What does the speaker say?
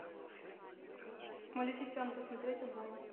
малефисента смотреть онлайн